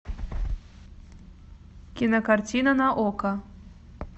кинокартина на окко